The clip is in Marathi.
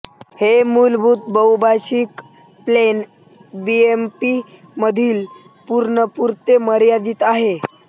हे मूलभूत बहुभाषिक प्लेन बीएमपी मधील वर्णांपुरते मर्यादित आहे